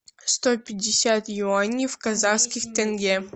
сто пятьдесят юаней в казахских тенге